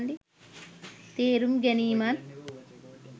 තේරුම් ගැනීමත්